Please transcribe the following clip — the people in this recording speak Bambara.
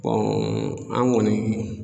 an kɔni